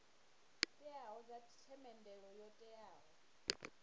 teaho dza themendelo yo teaho